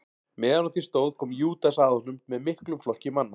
Meðan á því stóð kom Júdas að honum með miklum flokki manna.